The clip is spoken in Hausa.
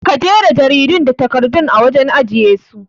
Ka jera jaridan da takardun a wajen ajiye su